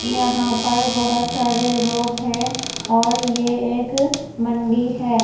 यहाँ पर बहुत सारे लोग हैं और ये एक मंडी है ।